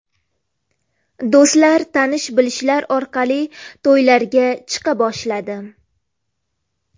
Do‘stlar, tanish bilishlar orqali to‘ylarga chiqa boshladim.